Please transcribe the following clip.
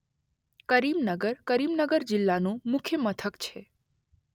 કરીમનગર કરીમનગર જિલ્લાનું મુખ્ય મથક છે.